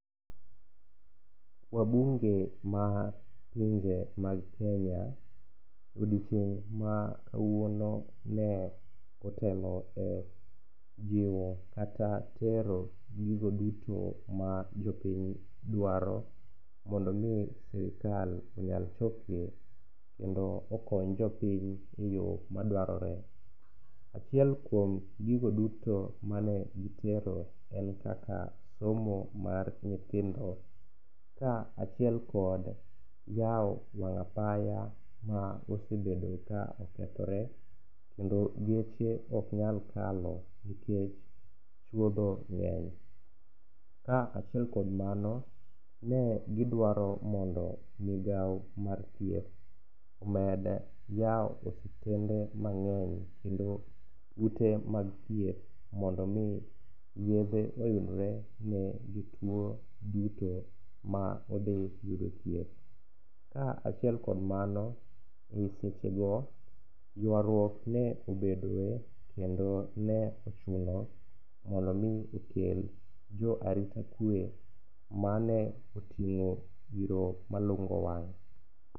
Wabunge ma pinje mag Kenya, odiochieng' ma kawuono ne otelo e jiwo kata tero gigo duto ma jopiny dwaro mondo omi sirikal onyal chopgi kendo okony jopiny e yo madwarore. Achiel kuom gigo duto mane gitero en kaka somo mar nytihindo ka achiel kod yawo wang' apaya ma osebedo ka okethore kendo geche ok nyal kalo nikech chwodho ng'eny, ka achiel kuom mano, ne gidawro mondo migawo mar thieth omed yawo osiptende manmg'eny kendo ute mag thieth mondo yedhe oyudre ne jotuwo duto ma odhi yudo thieth. Ka achiel kod mano,e sechego ywaruok ne obedoe kendo ne ochuno mondo omi okel jo arita kwe mane oting'o iro malungo wang'.